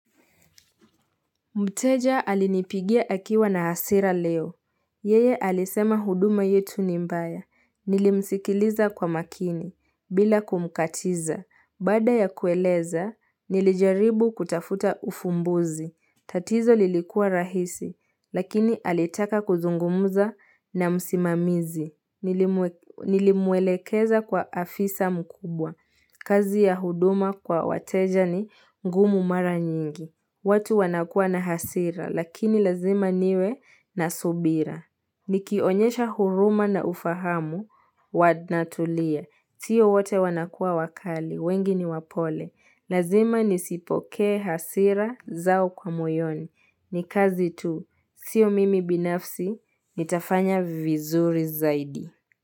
Mteja alinipigia akiwa na hasira leo. Yeye alisema huduma yetu ni mbaya. Nilimsikiliza kwa makini, bila kumkatiza. Bada ya kueleza, nilijaribu kutafuta ufumbuzi. Tatizo lilikuwa rahisi, lakini alitaka kuzungumza na msimamizi, nilimwe Nilimwelekeza kwa afisa mkubwa. Kazi ya huduma kwa wateja ni ngumu mara nyingi. Watu wanakua na hasira, lakini lazima niwe na subira. Nikionyesha huruma na ufahamu, wanatulia. Sio wote wanakuwa wakali, wengi niwapole. Lazima nisipokee hasira zao kwa moyoni. Ni kazi tu, sio mimi binafsi, nitafanya vizuri zaidi.